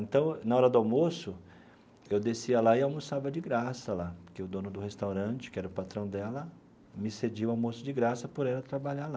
Então, na hora do almoço, eu descia lá e almoçava de graça lá, porque o dono do restaurante, que era o patrão dela, me cedia o almoço de graça por ela trabalhar lá.